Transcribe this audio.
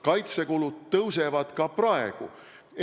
Kaitsekulud kasvavad ka praegu.